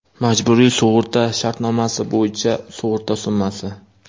Majburiy sug‘urta shartnomasi bo‘yicha sug‘urta summasi: .